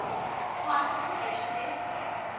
high population density